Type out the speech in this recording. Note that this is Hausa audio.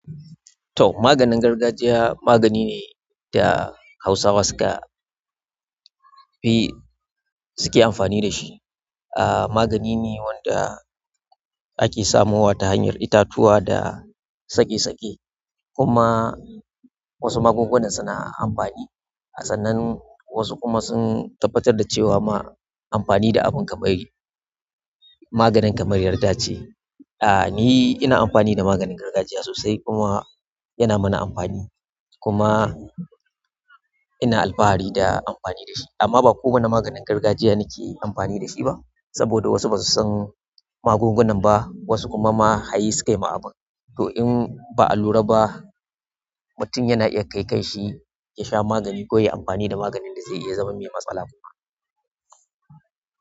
To maganin gargajiya magani ne da Hausawa suka fi suke amfani da shi. Ah magani ne wanda ake samowa ta hanyar itatuwa da tsake-tsake. Kuma. Wasu magungunan suna amfani a sannan wasu kuma sun tabbatar da cewa ma amfani da abin kamar maganin kamar yarda ce. Ah ni ina amfani da maganin gargajiya sosai, kuma yana mana amfani, kuma. Ina alfahari da amfani da shi, amma ba kowane maganin gargajiya nake yi amfani da shi ba saboda wasu ba su san magungunan ba wasu kuma ma hayi su kai ma abun. To in ba a lura ba mutum yana iya kai kan shi ya sha magani ko ya yi amfani da maganin da zai iya zama mai matsala kuma.